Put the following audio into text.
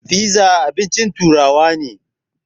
Fiza abincin turawa ne